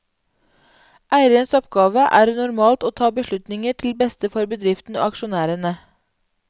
Eierens oppgave er normalt å ta beslutninger til beste for bedriften og aksjonærene.